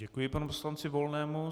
Děkuji panu poslanci Volnému.